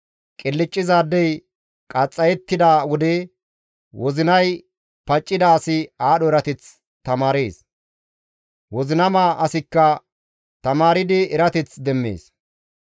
Qilccizaadey qaxxayettida wode wozinay paccida asi aadho erateth tamaarees; wozinama asikka tamaardi erateth demmees.